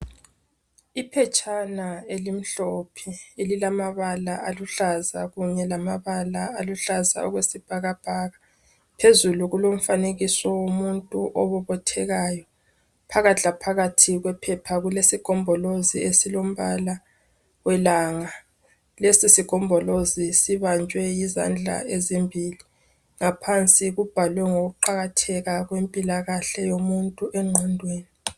Iphetshana elimhlophe elilamabala aluhlaza kunye lamabala aluhlaza okwesibhakabhaka. Phezulu kulomfanekiso womuntu obobothekayo. Phakathi laphakathi kwephepha kulesigombolozi esilombala welanga, lesi sigombolozi sibanjwe yizandla ezimbili. Ngaphansi kubhalwe ngokuqakatheka kwempilakahle yomuntu enqondweni.